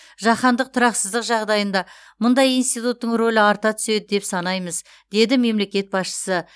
жаһандық тұрақсыздық жағдайында мұндай институттың рөлі арта түседі деп санаймыз деді мемлекет басшысы